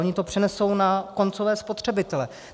Oni to přenesou na koncové spotřebitele.